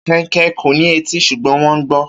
Kẹnkẹ kò ní etí ṣùgbọ́n wọn gbọn.